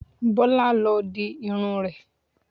Bọ́lá ló dirun rẹ̀